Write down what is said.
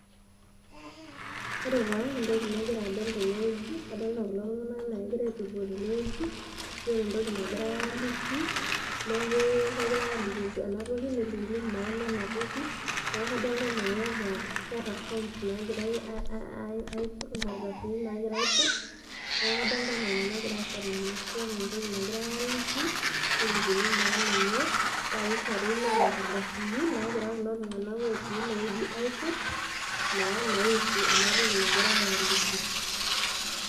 Ore taa entokinagira adol tene wueji , kadolita kulo tunganaka anaa kegira aitururo tene wueji, keeta entoki nagirae aliki , niaku kegirae aliki ena toki nelikini maana ena toki, niaku kadolta anaa keeta forms aiput, inkardasini nagirae aiput, niaku kadolta anaa ina nagira aasa tene. Ashu keeta entoki nagirae aliki , nelikini maana enye paa kishori, neeta nkardasini nagira kulo tunganak otii ene wueji aiput naa naihusu ena toki nagirae aliki.